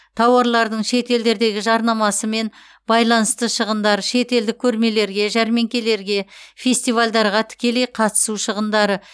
тауарлардың шетелдердегі жарнамасымен байланысты шығындар шетелдік көрмелерге жәрмеңкелерге фестивальдарға тікелей қатысу шығындары